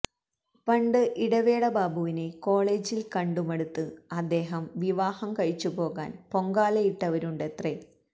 പണ്ട് ഇടവേള ബാബുവിനെ കോളേജില് കണ്ടു മടുത്ത് അദ്ദേഹം വിവാഹം കഴിച്ചുപോകാന് പൊങ്കാലയിട്ടവരുണ്ടത്രേ